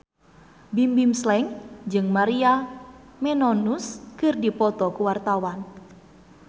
Bimbim Slank jeung Maria Menounos keur dipoto ku wartawan